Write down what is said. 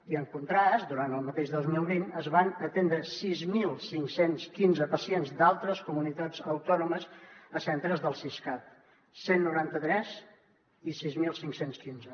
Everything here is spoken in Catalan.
i en contrast durant el mateix dos mil vint es van atendre sis mil cinc cents i quinze pacients d’altres comunitats autònomes a centres del siscat cent i noranta tres i sis mil cinc cents i quinze